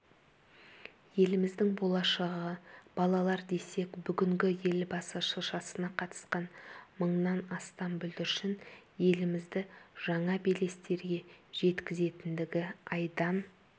еліміздің болашағы балалар десек бүгінгі елбасы шыршасына қатысқан мыңнан астам бүлдіршін елімізді жаңа белестерге жеткізетіндігі айдан